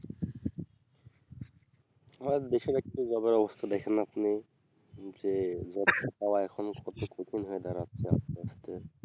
হ্যাঁ দেশের একটু job এর অবস্থা দেখেন আপনি যে job ছাড়া এখন কত কঠিন হয়ে দাঁড়াচ্ছে আস্তে আস্তে